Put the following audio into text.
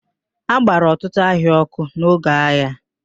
A gbara ọtụtụ ahịa ọ́kụ́ n'oge agha.